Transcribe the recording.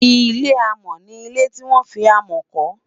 ilé amo ní ilẹ tí wọn fí amo kò